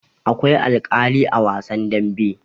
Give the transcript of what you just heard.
Akwai alkali a wasan dambe.